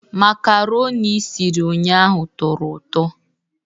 Makaroni i siri ụnyahụ tọrọ ụtọ